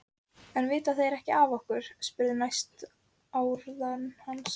spurði Hugrún næstum fjörlega en með óþægilegan brodd í málrómnum.